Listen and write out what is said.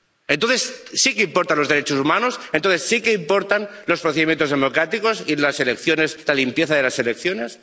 Entonces sí que importan los derechos humanos, entonces sí que importan los procedimientos democráticos y las elecciones, la limpieza de las elecciones.